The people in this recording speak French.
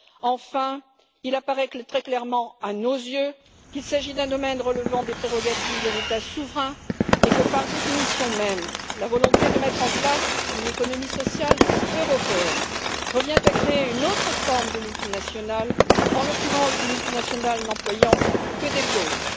Enfin, il apparaît très clairement à nos yeux qu'il s'agit d'un domaine relevant des prérogatives de l'État souverain et que, par définition même, la volonté de mettre en place une économie sociale européenne revient à créer une autre forme de multinationale, en l'occurrence des multinationales n'employant que des pauvres.